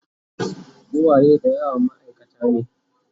uwaye da yawa maaikata ne